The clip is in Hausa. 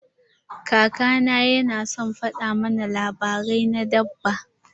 Kaka na yana son fada mana labarai na dabba.